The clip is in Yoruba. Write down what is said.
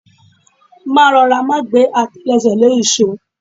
Máa rọra, má gbẹ́ àtẹlẹsẹ̀ lé ìṣó.